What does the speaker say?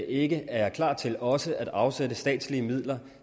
ikke er klar til også at afsætte statslige midler